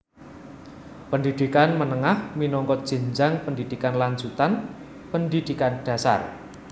Pendhidhikan menengah minangka jenjang pendhidhikan lanjutan pendhidhikan dhasar